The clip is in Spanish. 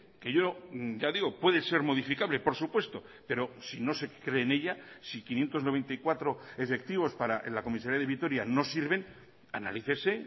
que yo ya digo puede ser modificable por supuesto pero si no se cree en ella si quinientos noventa y cuatro efectivos para la comisaría de vitoria no sirven analícese